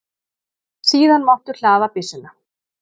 Síðan máttu hlaða byssuna.